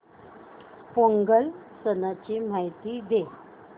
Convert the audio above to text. पोंगल सणाची माहिती दे